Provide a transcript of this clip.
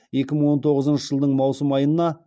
екі мың он тоғызыншы жылдың маусым айына